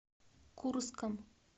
курском